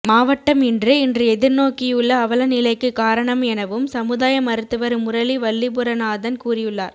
மாவட்டம் இன்று இன்று எதிர்நோக்கியுள்ள அவலநிலைக்கு காரணம் எனவும் சமுதாய மருத்துவர் முரளி வல்லிபுரநாதன் கூறியுள்ளார்